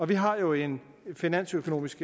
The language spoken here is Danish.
vi har jo en finansøkonomisk